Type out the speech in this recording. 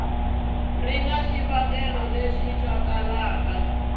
ri na swivangelo leswi twalaka